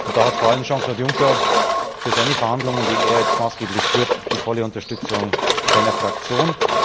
Und da hat vor allem Jean Claude Juncker für seine Verhandlungen, die er jetzt maßgeblich führt, die volle Unterstützung seiner Fraktion.